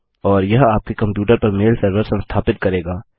और यह आपके कम्प्यूटर पर मेल सर्वर संस्थापित करेगा